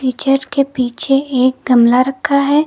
Teacher के पीछे एक गमला रखा है।